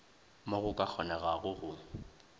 mo go ka kgonegago go